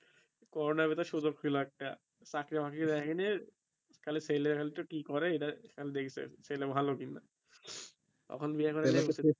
corona ভিতর সুযোগ ছিল একটা চাকরি মাকড়ি দ্যাখে নাই খালি ছেলে ফেলে কি করে এটাই খালি দেখসে ছেলে ভালো কিনা তখন বিয়ে করে